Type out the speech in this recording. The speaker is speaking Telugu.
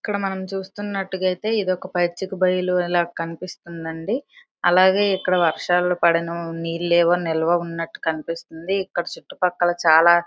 ఇక్కడ మనం చూస్తున్నట్టుగా అయితే ఇది ఒక పచ్చిక బయలు లాగా కనిపిస్తుంది అండి అలాగే ఇక్కడ వర్షాలు పడడం నీళ్లు ఏవో ఉన్నట్టుగా కనిపిస్తుంది ఇంకా ఇక్కడ చుట్టుపక్కల చాలా